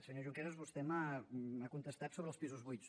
senyor junqueras vostè m’ha contestat sobre els pisos buits